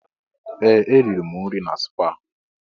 Ee! Eriri m nri na spaa.